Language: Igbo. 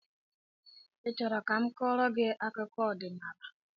I chọrọ ka m kọọrọ gị akụkọ ọdịnala?